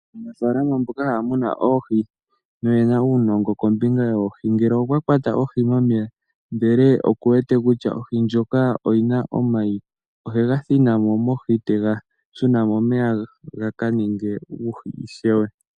Aanafaalama mboka haya munu oohi noyena uunongo kombinga yoohi , ngele okwakwata ohi momeya ndele okuwete kutya ohi ndjoka oyina omayi, ohega thinamo mohi etega shina momeya gaka ninge uuhi ishewe.